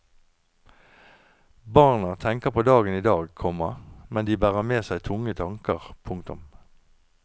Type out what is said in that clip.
Barna tenker på dagen i dag, komma men de bærer med seg tunge tanker. punktum